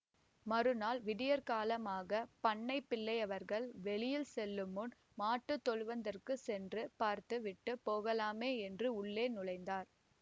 மறுநாள் விடியற்காலமாகப் பண்ணைப் பிள்ளையவர்கள் வெளியில் செல்லுமுன் மாட்டு தொழுவத்திற்குச் சென்று பார்த்து விட்டு போகலாமே என்று உள்ளே நுழைந்தார்